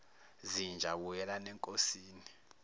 zinja buyelani enkosini